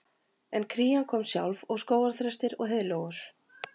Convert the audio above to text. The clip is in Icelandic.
En krían kom sjálf og skógarþrestir og heiðlóur